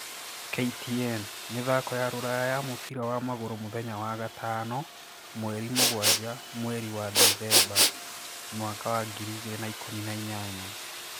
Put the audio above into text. (KTN) Mĩthako ya Rũraya ya mũbira wa magũrũ mũthenya wa gatano 07.12.2018